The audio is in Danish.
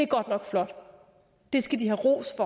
godt nok flot og de skal have ros